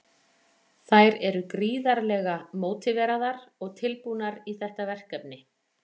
Þær eru gríðarlega mótiveraðar og tilbúnar í þetta verkefni.